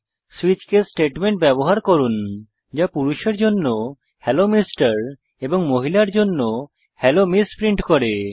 switch case statement ব্যবহার করুন যা পুরষের জন্য হেলো এমআর এবং মহিলার জন্য হেলো এমএস প্রিন্ট করে